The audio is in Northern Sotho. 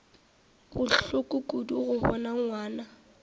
bohloko kudu go bona ngwana